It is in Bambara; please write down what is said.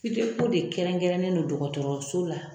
de kɛrɛnkɛrɛnnen don dɔgɔtɔrɔso la.